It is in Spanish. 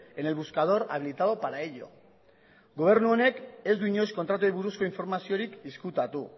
en el buscador habilitado para ello gobernu honek ez du inoiz kontratuei buruzko informaziorik ezkutatu